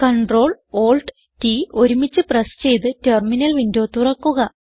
Ctrl Alt T ഒരുമിച്ച് press ചെയ്ത് terminal window തുറക്കുക